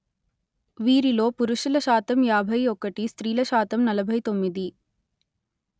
వీరిలో పురుషుల శాతం యాభై ఒకటి స్త్రీల శాతం నలభై తొమ్మిది